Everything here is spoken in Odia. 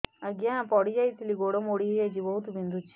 ଆଜ୍ଞା ପଡିଯାଇଥିଲି ଗୋଡ଼ ମୋଡ଼ି ହାଇଯାଇଛି ବହୁତ ବିନ୍ଧୁଛି